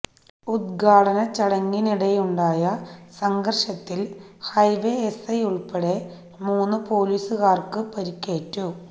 ഉദ്ഘാടനച്ചടങ്ങിനിടെയുണ്ടായ സംഘര്ഷത്തില് highway SI ഉള്പ്പെടെ മൂന്ന് പൊലീസുകാര്ക്ക് പരുക്കേറ്റു